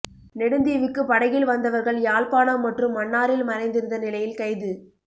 நெடுந்தீவுக்கு படகில் வந்தவர்கள் யாழ்ப்பாணம் மற்றும் மன்னாரில் மறைந்திருந்த நிலையில் கைது